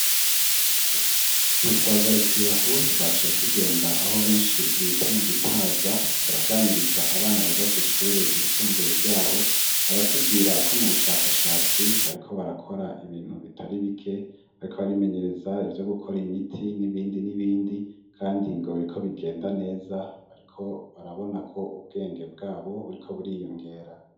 Ntitwagarukiye aho twacaye tugenda aho benshi bita mu Gitaza turaganiriza abana biga kw'ishure gisumbuye ryaho baratubwira ko mu bushakashatsi bariko barakora ibintu bitari bike bariko baribimenyereza ibyo gukora imiti n'ibindi n'ibindi kandi ngo biriko bigenda neza bariko barabona ko ubwenge bwabo buriko buriyongera.